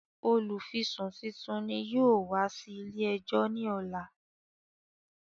Olùfisùn titun ni yóò wá sí ilé ẹjọ́ ní ọ̀la